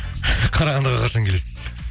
қарағандыға қашан келесіз дейді